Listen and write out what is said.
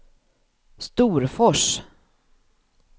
Storfors